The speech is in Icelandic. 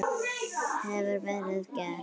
Hefur það verið gert?